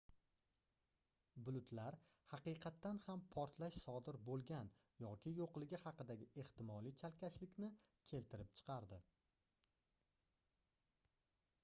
bulutlar haqiqatan ham portlash sodir boʻlgan yoki yoʻligi haqidagi ehtimoliy chalkashlikni keltirib chiqardi